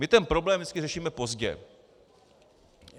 My ten problém vždycky řešíme pozdě.